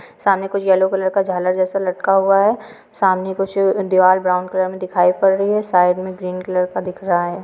सामने कुछ yellow colour का झालर जैसा लटका हुआ है समनमे कुछ अ द्वार ब्राउन कलर मे दिखाई पड रही है साइड मे ग्रीन कलर का दिख रहा है।